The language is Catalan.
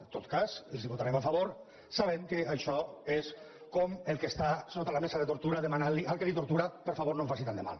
en tot cas els la votarem a favor sabent que això és com el que està sota la mesa de tortura demanant al que el tortura per favor no em faci tant de mal